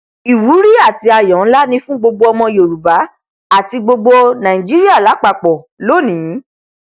ìwúrí àti àyọ nlá ni fún gbogbo ọmọ yorùbá àti gbogbo nàìjíríà lápapọ lónìí